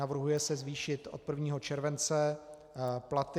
Navrhuje se zvýšit od 1. července platy.